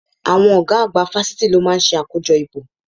Àwọn ọ̀gá àgbà fásitì ló máa ń ṣe àkójọ ìbò